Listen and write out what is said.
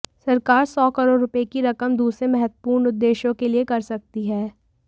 सरकार सौ करोड़ रुपए की रकम दूसरे महत्वपूर्ण उद्देश्यों के लिए कर सकती है